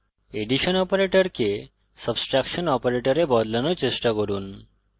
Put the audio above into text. addition অপারেটরকে subtraction অপারেটরে বদলানোর চেষ্টা করুন